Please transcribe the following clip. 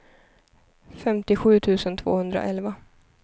femtiosju tusen tvåhundraelva